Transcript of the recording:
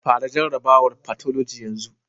Fara jarrabawar fathology yanzu.